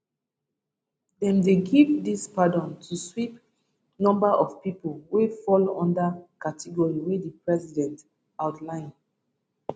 dem dey give dis pardons to sweep number of pipo wey fall under category wey di president outline